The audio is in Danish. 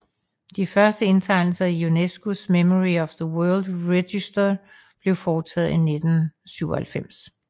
De første indtegnelser i UNESCOs Memory of the World Register blev foretaget i 1997